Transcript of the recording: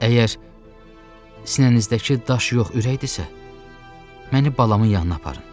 Əgər sinənizdəki daş yox ürəkdirsə, məni balamın yanına aparın.